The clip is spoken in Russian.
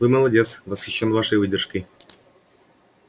вы молодец восхищён вашей выдержкой